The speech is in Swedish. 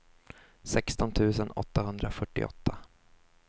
sexton tusen åttahundrafyrtioåtta